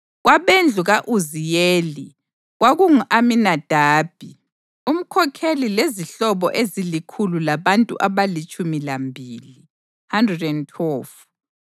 kwabendlu ka-Uziyeli, kwakungu-Aminadabi umkhokheli lezihlobo ezilikhulu labantu abalitshumi lambili (112).